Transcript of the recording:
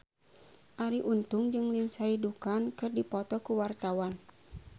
Arie Untung jeung Lindsay Ducan keur dipoto ku wartawan